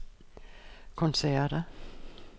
koncerter